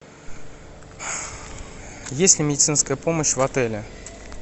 есть ли медицинская помощь в отеле